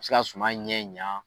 Bi se ka suma ɲɛ ɲa.